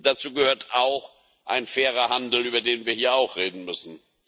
Dazu gehört auch ein fairer Handel, über den wir hier auch reden müssen.